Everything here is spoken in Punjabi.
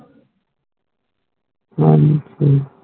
ਹਾਂ ਜੀ